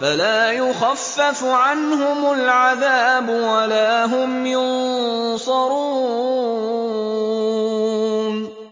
فَلَا يُخَفَّفُ عَنْهُمُ الْعَذَابُ وَلَا هُمْ يُنصَرُونَ